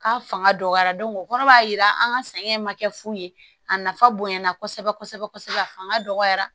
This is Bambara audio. K'a fanga dɔgɔya o kɔrɔ b'a jira an ka sɛgɛn ma kɛ fu ye a nafa bonyana kosɛbɛ kosɛbɛ a fanga dɔgɔyara